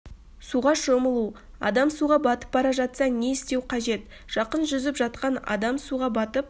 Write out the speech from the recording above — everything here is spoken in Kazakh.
суға шомылу адам суға батып бара жатса не істеу қажет жақын жүзіп жатқан адам суға батып